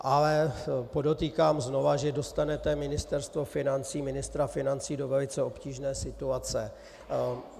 Ale podotýkám znova, že dostanete Ministerstvo financí, ministra financí do velice obtížné situace.